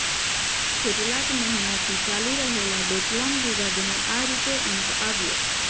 કેટલાક મહિનાથી ચાલી રહેલા ડોકલામ વિવાદનો આ રીતે આવ્યો અંત